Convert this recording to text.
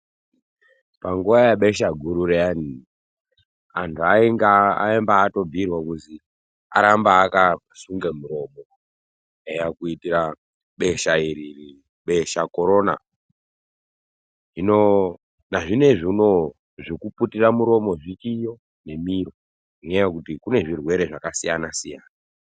Panguwa yebesha guru riyani antu aibhiirwa kuzi arambe akasunga muromo kuitira besha iri besha Corona, hino nazvinezvi uno zvekuputira muromo zvichiyo nemiro ngenyaya yekuti kune zvirwere zvakasiya siyana.